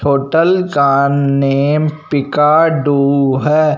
Hotel का name पिकाडु है।